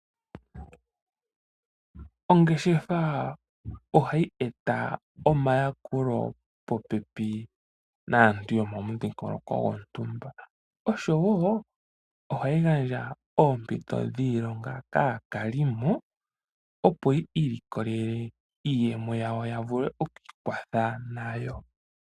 Ongeshefa ohayi eta omayakulo popepi naantu yomomudhingoloko gwontumba, noshowo okugandja oompito dhiilonga kaakalimo, opo yi ilikolele iiyemo yawo yavule okwiikwatha nayo.